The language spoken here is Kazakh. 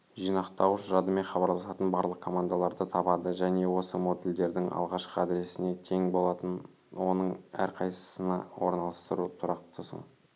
жинақтауыш жадымен хабарласатын барлық командаларды табады және осы модульдердің алғашқы адресіне тең болатын оның әрқайсысына орналастыру тұрақтысын